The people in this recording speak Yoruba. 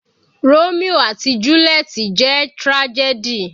Romio àti juliet jẹ́ tragedy.